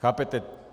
Chápete?